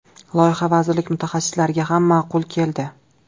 Loyiha vazirlik mutaxassislariga ham ma’qul keldi.